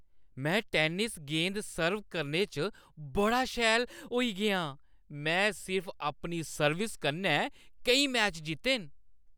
में टेनिस गेंद सर्व करने च बड़ा शैल होई गेआ आं। में सिर्फ अपनी सर्विस कन्नै केईं मैच जित्ते न।